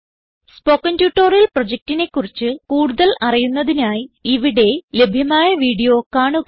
spoken tutorial പ്രൊജക്റ്റിനെ കുറിച്ച് കൂടുതൽ അറിയുന്നതിനായി ഇവിടെ ലഭ്യമായ വീഡിയോ കാണുക